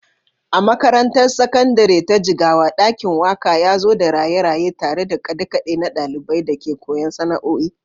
A makarantar Sakandare ta Jigawa, ɗakin waƙa ya zo da raye-raye tare da kaɗe-kaɗe na ɗ\aliban da ke koyon sana’o’i.